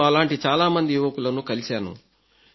నేను అలాంటి చాలా మంది యువకులను కలిశాను